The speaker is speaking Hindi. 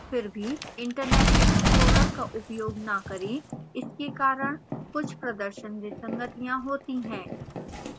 फिर भी internet explorer का उपयोग न करें इसके कारण कुछ प्रदर्शन विसंगतियां होती हैं